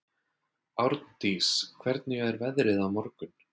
Árndís, hvernig er veðrið á morgun?